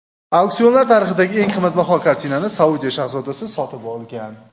Auksionlar tarixidagi eng qimmatbaho kartinani Saudiya shahzodasi sotib olgan.